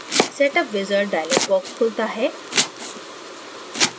setup wizard dialog box खुलता है